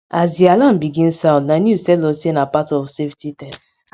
as di alarm begin sound na news tell us say na part of safety test